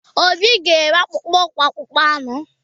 Obi ga-eme akpụkpọ ụkwụ akpụkpọ anụ.